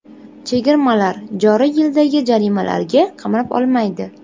Chegirmalar joriy yildagi jarimalarga qamrab olmaydi.